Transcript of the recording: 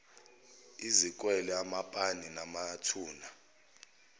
izikwele amapaki namathuna